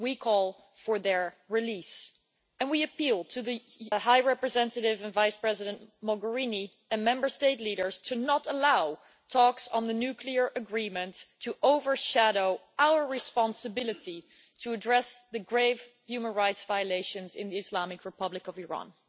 We call for their release, and we appeal to High Representative Vice President Mogherini and Member State leaders not to allow talks on the nuclear agreement to overshadow our responsibility to address the grave human rights violations in the Islamic Republic of Iran.